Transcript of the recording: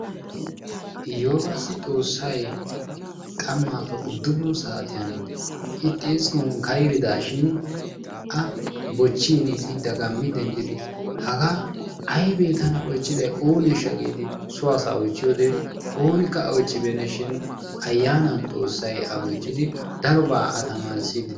Eyyoobassi xoossay qammaappe uddufun saatiyan I xiskkuwan kayridaashin A bochchiini I dagammi denddidi hagaa aybee tana bochchiday ooneeshsha yaagidi so asaa oychchiyode oonikka A bochchibeennashin ayyaanan xoossay A bochchidi darobaa A tamaarissiiddi dees.